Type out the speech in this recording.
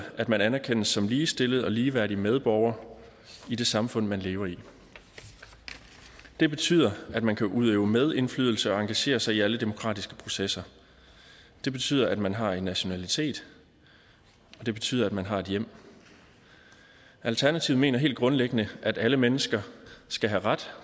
at man anerkendes som ligestillet og ligeværdig medborger i det samfund man lever i det betyder at man kan udøve medindflydelse og engagere sig i alle demokratiske processer det betyder at man har en nationalitet og det betyder at man har et hjem alternativet mener helt grundlæggende at alle mennesker skal have ret